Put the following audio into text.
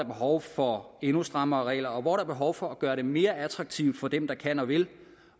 behov for endnu strammere regler og hvor der er behov for at gøre det mere attraktivt for dem der kan og vil